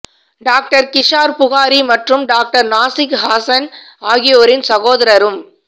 doctor Kizar Buhari மற்றும் doctor Nazik Hasan ஆகியோரின் சகோதரரும்